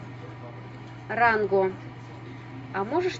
ранго а можешь